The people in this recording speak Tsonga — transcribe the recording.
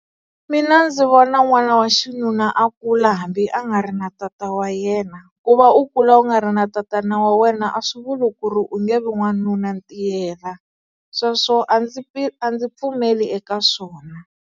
Mina ndzi vona n'wana wa xinuna a kula hambi a nga ri na tata wa yena. Ku va u kula u nga ri na tatana wa wena a swi vuli ku ri u nge vi n'wanunantiyela. Sweswo a ndzi a ndzi pfumeli eka swona.